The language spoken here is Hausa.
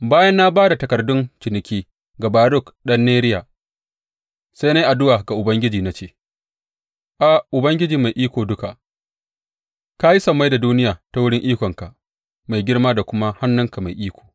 Bayan na ba da takardun ciniki ga Baruk ɗan Neriya, sai na yi addu’a ga Ubangiji na ce, A, Ubangiji Mai Iko Duka, ka yi sammai da duniya ta wurin ikonka mai girma da kuma hannunka mai iko.